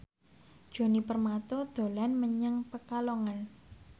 Djoni Permato dolan menyang Pekalongan